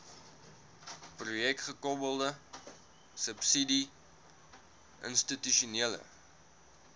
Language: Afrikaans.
projekgekoppelde subsidie institusionele